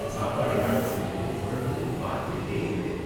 சாப்பாடை ஆர்டர் செஞ்சுட்டு தொடர்ந்து பார்த்துக்கிட்டே இருந்தேன்.